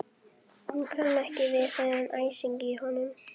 Hún kann ekki við þennan æsing í honum.